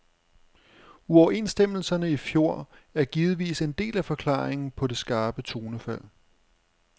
Uoverenstemmelserne i fjor er givetvis en del af forklaringen på det skarpe tonefald.